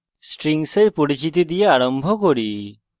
strings এর পরিচিতি দ্বারা আরম্ভ করি